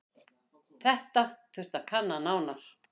Þetta þurfi að kanna nánar.